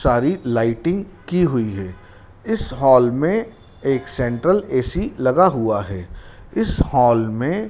सारी लायटिंग की हुई है इस हाल में एक सेंट्रल ए_सी लगा हुआ है इस हाल में--